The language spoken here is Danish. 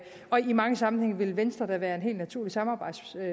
og i mange sammenhænge vil venstre da være en helt naturlig samarbejdspartner